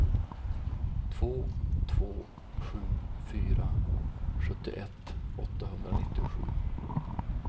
två två sju fyra sjuttioett åttahundranittiosju